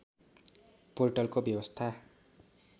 पोर्टलको व्यवस्था